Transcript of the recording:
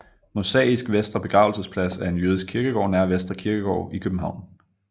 Mosaisk Vestre Begravelsesplads er en jødisk kirkegård nær Vestre Kirkegård i København